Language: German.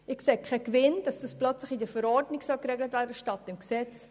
Ich sehe keinen Gewinn darin, dies plötzlich in der Verordnung statt im Gesetz zu regeln.